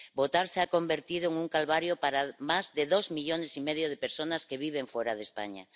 Votar se ha convertido en un calvario para más de dos millones y medio de personas que viven fuera de España.